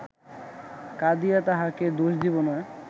কাঁদিয়া তাঁহাকে দোষ দিব না